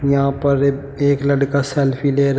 यहां पर एक एक लड़का सेल्फी ले रहा--